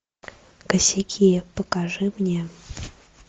косяки покажи мне